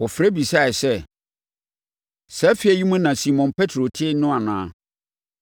Wɔfrɛ bisaeɛ sɛ, “Saa efie yi mu na Simon Petro te no anaa?”